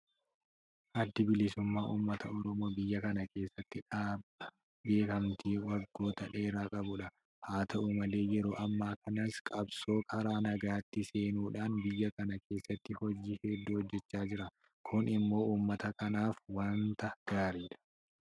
Addi bilisummaa uummata Oromoo biyya kana keessatti dhaaba beekamtii waggoota dheeraa qabudha. Haata'u malee yeroo ammaa kanas qabsoo karaa nagaatti seenuudhaan biyya kana keessatti hojii hedduu hojjechaa jira. Kun immoo uummata kanaaf waanta gaariidha.